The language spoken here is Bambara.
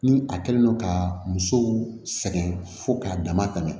Ni a kɛlen do ka musow sɛgɛn fo k'a dama tɛmɛ